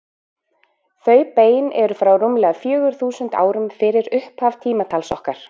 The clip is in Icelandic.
Þau bein eru frá rúmlega fjögur þúsund árum fyrir upphaf tímatals okkar.